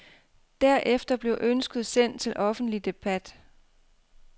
Derefter bliver ønsket sendt til offentlig debat.